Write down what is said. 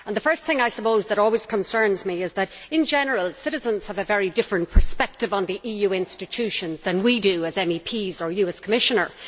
The first thing that always concerns me is that, in general, citizens have a very different perspective on the EU institutions than we do as MEPs or you do as Commissioner.